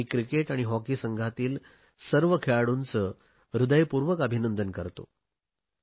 मी cricket आणि hockey संघातील सर्व खेळाडूंचे मनपूर्वक अभिनंदन करतो